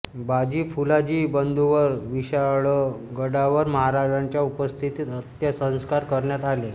बाजी फुलाजी बंधूंवर विशाळगडावर महाराजांच्या उपस्थितीत अंत्यसंस्कार करण्यात आले